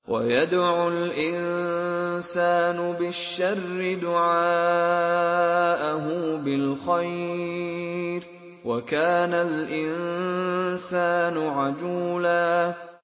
وَيَدْعُ الْإِنسَانُ بِالشَّرِّ دُعَاءَهُ بِالْخَيْرِ ۖ وَكَانَ الْإِنسَانُ عَجُولًا